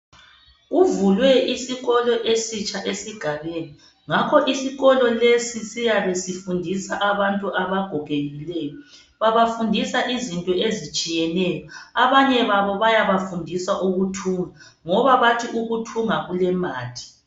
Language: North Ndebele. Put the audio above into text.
Kuvulwe izikolo esitsha esigabeni ngakho isikolo lesi siyabe sifundisa abantu abagogekileyo babafundisa izinto ezitshiyeneyo abanye babo bayabafundisa ukuthunga ngoba bathi ukuthunga kulemali.